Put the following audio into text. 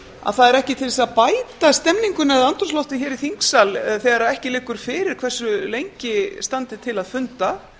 að það er ekki til þess að bæta stemninguna eða andrúmsloftið hér í þingsal þegar ekki liggur fyrir hversu lengi standi til að funda